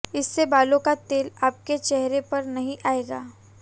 इससे बालों का तेल आपके चेहरे पर नहीं आएगा